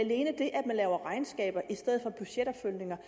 at man laver regnskaber i stedet for budgetopfølgninger